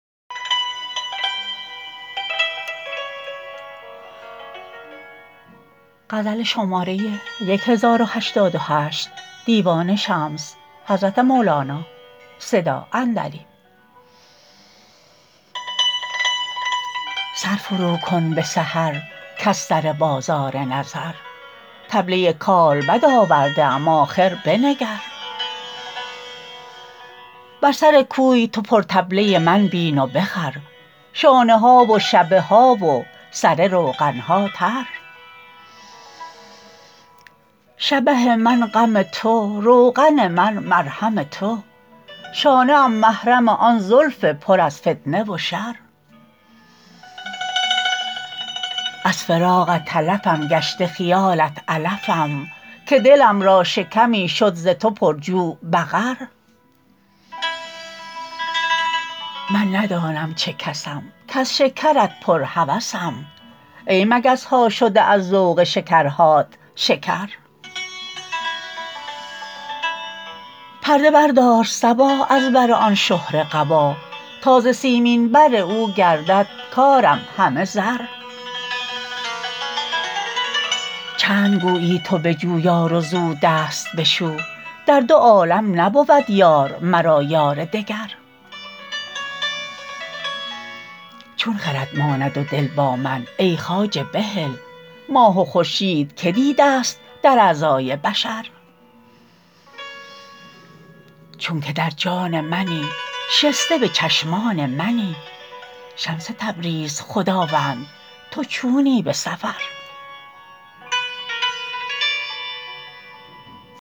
سر فروکن به سحر کز سر بازار نظر طبله کالبد آورده ام آخر بنگر بر سر کوی تو پرطبله من بین و بخر شانه ها و شبه ها و سره روغن ها تر شبه من غم تو روغن من مرهم تو شانه ام محرم آن زلف پر از فتنه و شر از فراقت تلفم گشته خیالت علفم که دلم را شکمی شد ز تو پرجوع بقر من ندانم چه کسم کز شکرت پرهوسم ای مگس ها شده از ذوق شکرهات شکر پرده بردار صبا از بر آن شهره قبا تا ز سیمین بر او گردد کارم همه زر چند گویی تو بجو یار وزو دست بشو در دو عالم نبود یار مرا یار دگر چون خرد ماند و دل با من ای خواجه بهل ماه و خورشید که دیدست در اعضای بشر چون که در جان منی شسته به چشمان منی شمس تبریز خداوند تو چونی به سفر